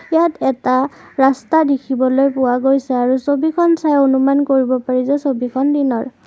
ইয়াত এটা ৰাস্তা দেখিবলৈ পোৱা গৈছে আৰু ছবিখন চাই অনুমান কৰিব পাৰি যে ছবিখন দিনৰ।